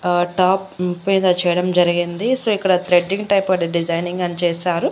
ఆ టాప్ మీద చేయడం జరిగింది సో ఇక్కడ త్రెడ్డింగ్ టైప్ అండ్ డిజైనింగ్ అని చేశారు.